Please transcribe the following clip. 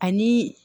Ani